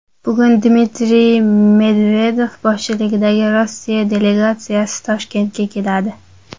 Bugun Dmitriy Medvedev boshchiligidagi Rossiya delegatsiyasi Toshkentga keladi.